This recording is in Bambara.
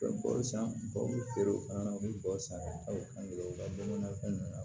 U bɛ bɔ san ba bi feere o fana na u bɛ bɔ san o san kelen o ka dɔn na fɛn